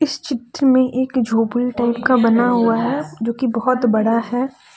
इस चित्र में एक झोपड़ी टाइप का बना हुआ है जो की बहोत बड़ा है।